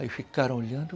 Aí ficaram olhando.